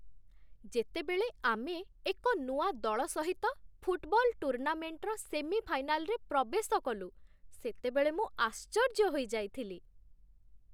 ଯେତେବେଳେ ଆମେ ଏକ ନୂଆ ଦଳ ସହିତ ଫୁଟ୍‌ବଲ୍ ଟୁର୍ଣ୍ଣାମେଣ୍ଟର ସେମିଫାଇନାଲ୍‌ରେ ପ୍ରବେଶ କଲୁ, ସେତେବେଳେ ମୁଁ ଆଶ୍ଚର୍ଯ୍ୟ ହୋଇଯାଇଥିଲି।